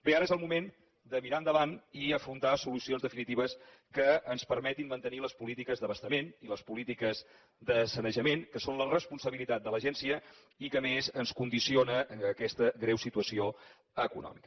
bé ara és el moment de mirar endavant i afrontar solucions definitives que ens permetin mantenir les polítiques d’abastament i les polítiques de sanejament que són la responsabilitat de l’agència i a les quals a més ens condiciona aquesta greu situació econòmica